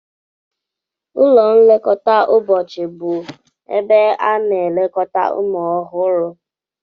Ụlọ nlekọta ụbọchị bụ ebe a na-elekọta ụmụ ọhụrụ.